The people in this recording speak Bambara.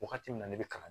Wagati min na ne bɛ kalan